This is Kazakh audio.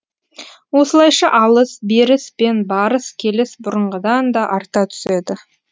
осылайша алыс беріс пен барыс келіс бұрынғыдан да арта түседі